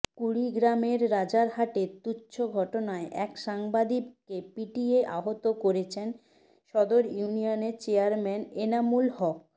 কুড়িগ্রামের রাজারহাটে তুচ্ছ ঘটনায় এক সাংবাদিককে পিটিয়ে আহত করেছেন সদর ইউনিয়নের চেয়ারম্যান এনামুল হক